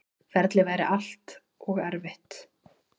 Ferlið væri allt og erfitt.